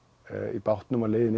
í bátnum á leiðinni